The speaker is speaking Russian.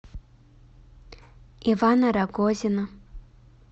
ивана рогозина